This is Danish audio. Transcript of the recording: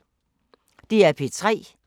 DR P3